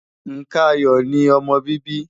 Nǹkan ayọ̀ ni ọmọ bíbí.